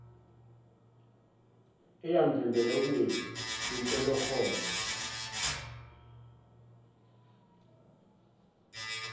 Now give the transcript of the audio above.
eyamvimbela ukungezi kwinhlolokhono